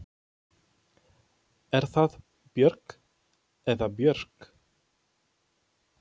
Er það Björg eða Björk?